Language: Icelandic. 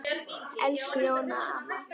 Elsku Jóna amma.